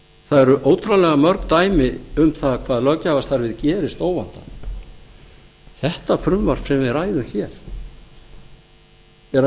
það eru ótrúlega mörg dæmi um það hvað löggjafarstarfið gerist óvandað þetta frumvarp sem við ræðum hér er að mínu mati